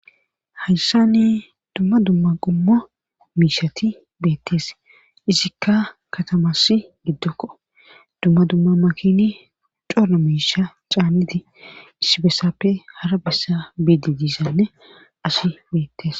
Hayssani dumma dumma qummo miishati beettees izikka katamas giddokko dumma dumma makini udora miisha caannidi issibessappe hara bessa bidi diisanne asi beettes